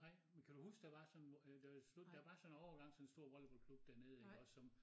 Nej men kan du huske der var sådan hvor øh der stor der var sådan en overgang en stor volleyball klub dernede iggås som